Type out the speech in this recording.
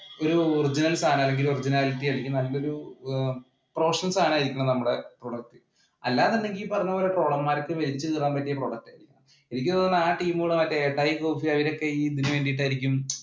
ഒരു original സാധനം അല്ലെങ്കില്‍ originality ആയിരിക്കണം അല്ലെങ്കില്‍ നല്ലൊരു professional സാധനം ആയിരിക്കണം നമ്മുടെ product. അല്ലാ എന്നുണ്ടെങ്കില്‍ ഈ പറഞ്ഞപോലെ ട്രോളന്മാർക്ക് വലിച്ചു കീറാൻ പറ്റിയ product. എനിക്ക് തോന്നുന്നു ആ team ഉകളുമായിട്ട് എട്ടായി കോഫി അവരൊക്കെ ഇതിനു വേണ്ടി ആയിരിക്കും